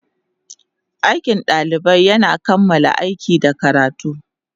Aikin ɗalibai yana kammala aiki da karatu.